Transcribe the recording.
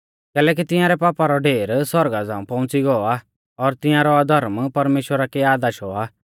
कैलैकि तिंयारै पापा रौ ढेर सौरगा झ़ांऊ पौउंच़ी गौ आ और तिंयारौ अधर्म परमेश्‍वरा कै याद आशौ आ